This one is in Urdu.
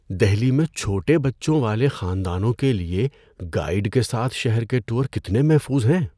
دہلی میں چھوٹے بچوں والے خاندانوں کے لیے گائیڈ کے ساتھ شہر کے ٹور کتنے محفوظ ہیں؟